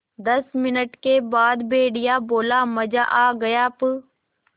दस मिनट के बाद भेड़िया बोला मज़ा आ गया प्